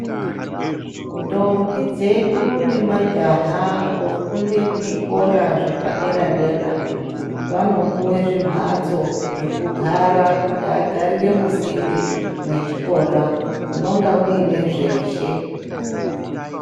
Ndombi dzedu nemajaha dzofunda kuzvikora zvepadera dera vanopuwa zvimbatso zvekugara kuti muntu agarire musinde mechikora munonga muine zveshe.